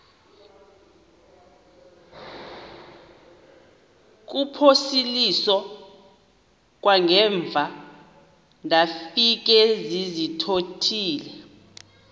kuphosiliso kwangaemva ndafikezizikotile